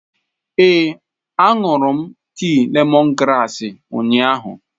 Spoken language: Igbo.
Ee, ahụrụ m tii lemongrass ụnyahụ.